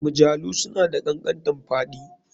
Mjalu suna da kankantanfaɗi